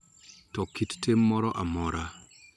To kit tim moro amora .